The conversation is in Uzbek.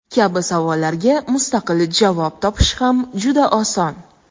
kabi savollarga mustaqil javob topish ham juda oson.